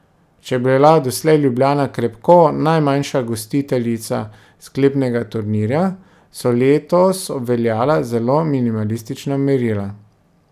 Če je bila doslej Ljubljana krepko najmanjša gostiteljica sklepnega turnirja, so letos obveljala zelo minimalistična merila.